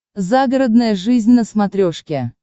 загородная жизнь на смотрешке